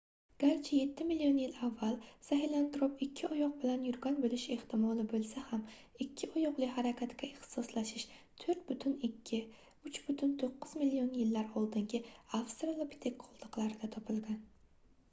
garchi yetti million yil avval sahelantrop ikki oyoq bilan yurgan bo'lishi ehtimoli bo'lsa ham ikki oyoqli harakatga ixtisoslashish 4,2–3,9 million yillar oldingi avstralopitek qoldiqlarida topilgan